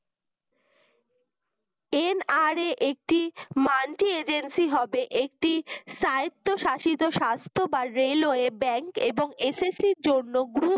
NRA একটি multy agency হবে একটি স্বায়েত্বস্বায়িত স্বাস্থ বা railway ব্যাংক এবং SSC এর জন্য